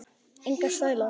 Enga stæla